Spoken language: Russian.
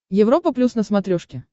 европа плюс на смотрешке